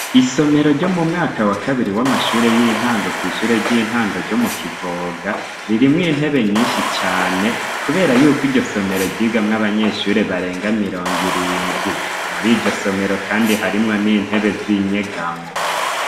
Isomero ryo mu mwaka wa kabiri w'amashure y'intango kw'ishure ry'intango ryo mu kivoga ririmwo intebe nyinshi cane, kubera yuko iryo somero ryigamwo abanyeshure barenga mirongo irindwi, muri iryo somero kandi harimwo n'intebe z'inyegamo.